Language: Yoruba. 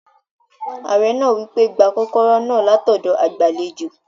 Ààrẹ náà wí pé, "gba kọ́kọ́rọ́ náà látọ̀dọ̀ agbàlejò